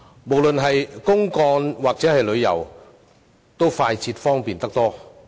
無論是公幹或旅遊，均快捷方便得多。